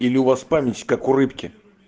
или у вас память как у рыбки